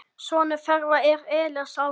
Sonur þeirra er Elías Ari.